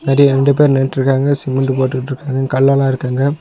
நெறைய ரெண்டு பேர் நின்ட்ருக்காங்க சிமெண்ட்டு போட்டுட்ருக்காங்க கல்லெல்லா இருக்கங்க.